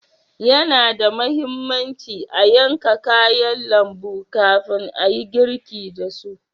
Yana da muhimmanci a yanka kayan lambu kafin ayi girki dasu.